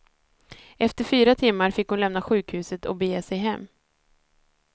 Efter fyra timmar fick hon lämna sjukhuset och bege sig hem.